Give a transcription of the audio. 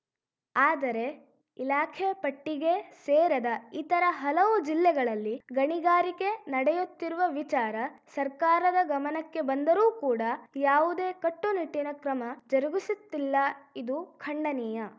ಆದರೆ ಇಲಾಖೆ ಪಟ್ಟಿಗೇ ಸೇರದ ಇತರ ಹಲವು ಜಿಲ್ಲೆಗಳಲ್ಲಿ ಗಣಿಗಾರಿಕೆ ನಡೆಯುತ್ತಿರುವ ವಿಚಾರ ಸರ್ಕಾರದ ಗಮನಕ್ಕೆ ಬಂದರೂ ಕೂಡ ಯಾವುದೇ ಕಟ್ಟುನಿಟ್ಟಿನ ಕ್ರಮ ಜರುಗಿಸುತ್ತಿಲ್ಲ ಇದು ಖಂಡನೀಯ